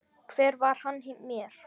Hver var hann mér?